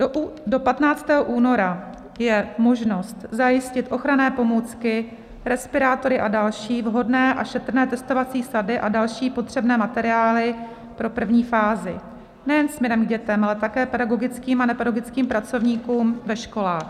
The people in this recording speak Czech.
Do 15. února je možnost zajistit ochranné pomůcky, respirátory a další, vhodné a šetrné testovací sady a další potřebné materiály pro první fázi nejen směrem k dětem, ale také pedagogickým a nepedagogickým pracovníkům ve školách.